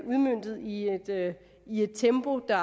udmøntet i i et tempo der